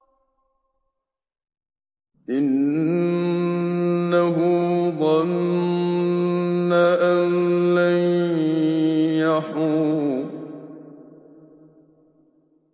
إِنَّهُ ظَنَّ أَن لَّن يَحُورَ